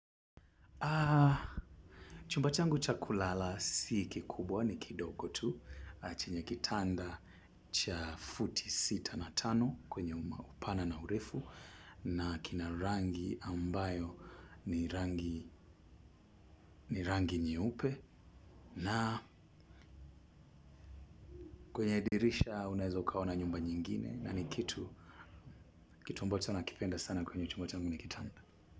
Chumba changu cha kulala si kikubwa ni kidogo tu chenye kitanda cha futi sita na tano kwenye upana na urefu. Na kina rangi ambayo ni rangi ni rangi nyeupe. Na kwenye dirisha unaeza ukaona nyumba nyingine na ni kitu ambacho nakipenda sana kwenye chumba changu ni kitanda.